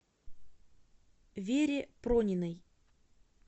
вере прониной